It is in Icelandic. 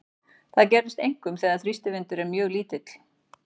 Þetta gerist einkum þegar þrýstivindur er mjög lítill.